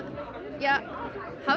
hafa